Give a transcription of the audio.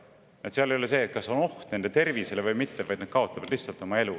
Seal ei ole küsimus selles, kas on oht nende tervisele või mitte, nad lihtsalt kaotavad oma elu.